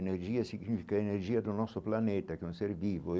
Energia significa energia do nosso planeta, que é um ser vivo.